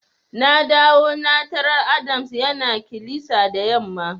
Na dawo na tarar Adams yana kilisa da yamma.